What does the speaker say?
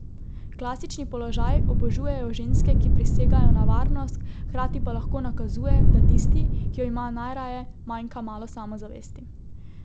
Klasični položaj obožujejo ženske, ki prisegajo na varnost, hkrati pa lahko nakazuje, da tisti, ki jo ima najraje, manjka malo samozavesti.